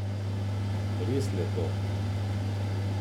Res lepo.